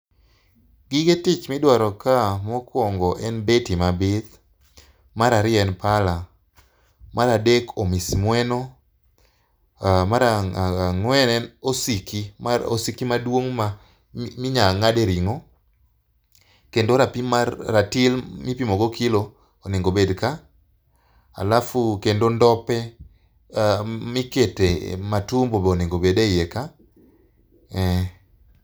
Gige tich midwaro ka mokwongo en beti mabith, mar ariyo en pala, mar adek omismweno, mar ang'wen en osiki, osiki maduong' minya ng'ade ring'o kendo ratil mipimogo kilo onego bed ka alafu kendo ndope mikete matumbo bonego bed e iye ka eh.